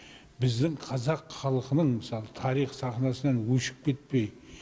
біздің қазақ халқының мысалы тарих сахнасынан өшіп кетпей